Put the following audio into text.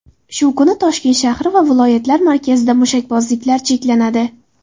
Shu kuni Toshkent shahri va viloyatlar markazida mushakbozliklar cheklanadi.